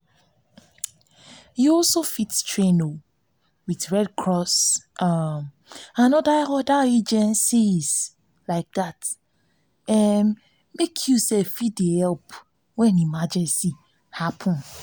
you fit train with red cross um or oda agencies to um fit help when emergency happen um